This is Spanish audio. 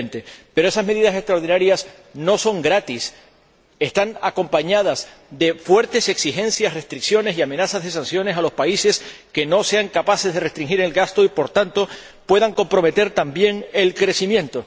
2020. Pero esas medidas extraordinarias no son gratis, están acompañadas de fuertes exigencias, restricciones y amenazas de sanciones a los países que no sean capaces de restringir el gasto y, por tanto, puedan comprometer también el crecimiento.